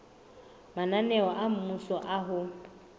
mananeo a mmuso a ho